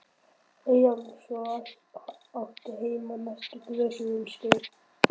Eyjólfs og átti heima á næstu grösum um skeið.